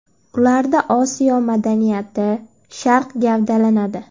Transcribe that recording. Ularda Osiyo madaniyati, Sharq gavdalanadi.